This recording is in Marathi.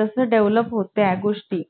बनवता ते घेऊन या म्हणून.